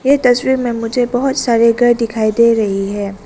ये तस्वीर में मुझे बहोत सारे घर दिखाई दे रही हैं।